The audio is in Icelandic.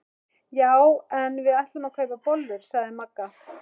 Já en við ætlum að kaupa bollur sagði Magga.